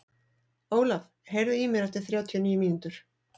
Ólaf, heyrðu í mér eftir þrjátíu og níu mínútur.